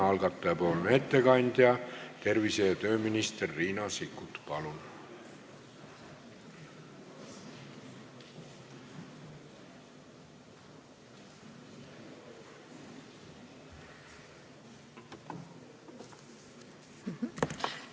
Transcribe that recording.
Algataja ettekandja tervise- ja tööminister Riina Sikkut, palun!